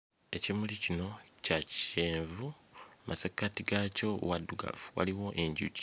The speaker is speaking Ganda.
Ekimuli kino kya kyenvu mmasekkati gaakyo waddugavu waliwo enjuki.